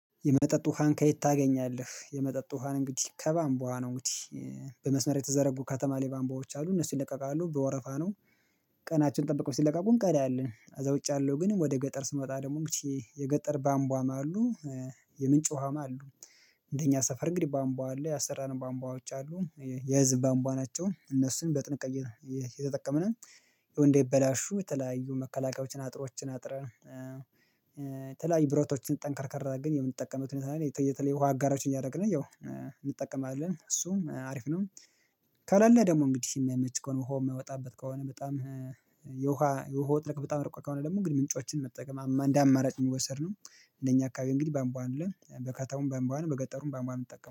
የመጠጥ ውሃን ከየት ታገኛለህ የመጠጥ ውሃን እንግዲህ ከባንቧ ነው እንግዲህ በመስመር የተዘረጉ ከተማ ላይ ባንቧዎች አሉ እነሱ ይለቀቃሉ በወረፋ ነው ቀናችን ጠብቀው ሲለቀቁ እንቀዳለን ከዛ ውጭ ያለው ግን ወደ ገጠር ስንወጣ እንግዲህ የገጠር ባምቧማ አሉ የምንጭ ውሃም አሉ እንደኛ ሰፈር እንግዲህ ባምቧ አለ ያሰራነው ባምቧዎች አሉ የህዝብ ባንቧ ናቸው እነሱን በጥንቃቄ ነው የተጠቀምነው እንዳይበላሹ የተለያዩ መከላከያዎችን አጥሮችን አጥረን የተለያዩ ብረቶችን ጠንከርከር አድርገን ግን የምንጠቀምበት ሁኔታ ነው ያለው። በተለይ ውሃ አጋሮችን እያደረግን ያው እንጠቀማለን እሱም አሪፍ ነው ከለለ ደግሞ እንግዲህ የሚያመች ከሆነ ውሃ የምወጣበት ከሆነ በጣም የውሃ የውሃ ጥልቀት በጣም ሩቅ ከሆነ ደግሞ እንግዲህ ምንጮችን መጠቀም እንደ አማራጭ የሚወሰድ ነው እነኛ አካባቢ እንግዲህ ቧንቧ አለ በከተማውም ቧንቧ ነው በገጠሩም ቧንቧ ነው ምንጠቀመው